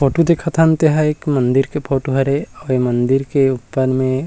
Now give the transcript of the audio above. photo देखत हन तेहा एक मंदिर के फोटो हरे अऊ ए मंदिर ऊपर में--